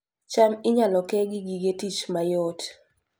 cham inyalo ke gi gige tich mayot